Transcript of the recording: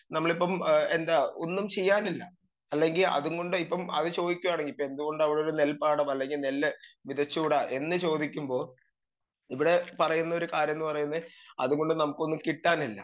speaker 2 നമ്മളിപ്പം ഏ എന്താ ഒന്നും ചെയ്യാനില്ല അല്ലെങ്കി അത്കൊണ്ട് ഇപ്പം അത് ചോയിക്കാണെങ്കി ഇപ്പെന്ത് കൊണ്ട് അവിടെ ഒരു നെൽപ്പാടം അല്ലെങ്കി നെല്ല് വിതച്ചൂടാ എന്ന് ചോദിക്കുമ്പൊ ഇവടെ പറയുന്ന ഒരു കാര്യം പറയുന്നെ അതുകൊണ്ട് നമുക്കൊന്നും കിട്ടാനില്ല